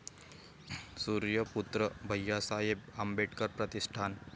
Suryaputra Bhaiyasaheb Ambedkar Pratishthan